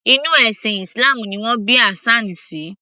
Inú ẹ̀sìn islam ni wọn bí Hassan sí